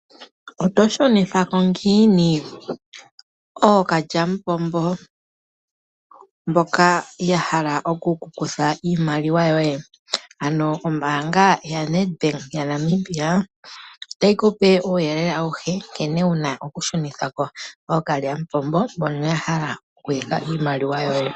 Oto shunitha ko ngiini ookalyamupombo mboka yahala oku kukutha iimaliwa yoye, ano ombaanga yaNedbank yaNamibia otayi kupe uuyelele awuhe nkene wuna okushunithako ookalyamupombo mbono yahala okuyaka iimaliwa yoye.